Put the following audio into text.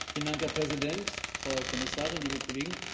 Herr Präsident, Frau Kommissarin, liebe Kollegen!